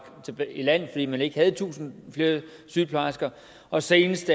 i land fordi man ikke havde tusind flere sygeplejersker og senest